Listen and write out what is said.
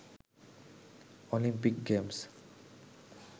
Olympic games,